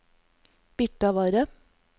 Birtavarre